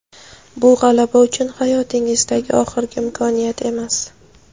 Bu – g‘alaba uchun hayotingizdagi oxirgi imkoniyat emas.